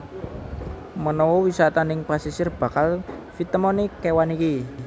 Menawa wisata ning pasisir bakal fitemoni kewan iki